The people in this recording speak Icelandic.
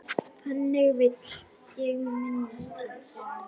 Þannig vil ég minnast hans.